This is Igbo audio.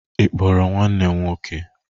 Ị kpọrọ nwanne m nwọke?